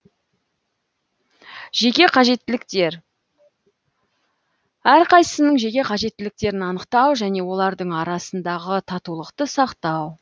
жеке қажеттіліктер әрқайсысының жеке қажеттіліктерін анықтау және олардың арасындағы татулықты сақтау